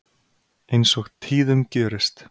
Eins og tíðum gjörist.